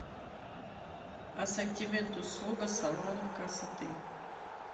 ассортимент услуг салонов красоты